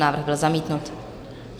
Návrh byl zamítnut.